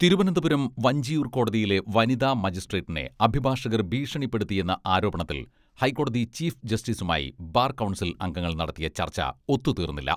തിരുവനന്തപുരം വഞ്ചിയൂർ കോടതിയിലെ വനിതാ മജിസ്ട്രേറ്റിനെ അഭിഭാഷകർ ഭീഷണിപ്പെടുത്തിയെന്ന ആരോപണത്തിൽ ഹൈക്കോടതി ചീഫ് ജസ്റ്റിസുമായി ബാർ കൗൺസിൽ അംഗങ്ങൾ നടത്തിയ ചർച്ച ഒത്തുതീർന്നില്ല.